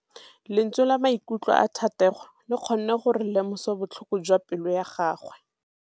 Lentswe la maikutlo a Thategô le kgonne gore re lemosa botlhoko jwa pelô ya gagwe.